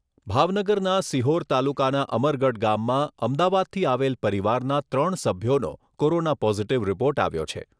ભાવનગરના સિહોર તાલુકાના અમરગઢ ગામમાં અમદાવાદથી આવેલ પરિવારના ત્રણ સભ્યોનો કોરોના પોઝિટિવ રિપોર્ટ આવ્યો છે.